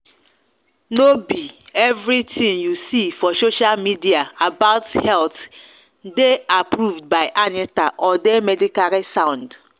no be everything you see for social media about health dey approved by anita or dey medically sound.